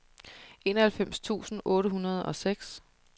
enoghalvfems tusind otte hundrede og seks